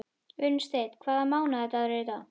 Unnsteinn, hvaða mánaðardagur er í dag?